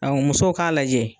Aw musow k'a lajɛ